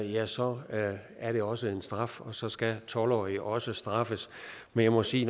ja så er det også en straf og så skal tolv årige også straffes men jeg må sige